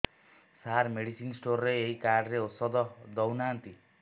ସାର medicine store ରେ ଏଇ card ରେ ଔଷଧ ଦଉନାହାନ୍ତି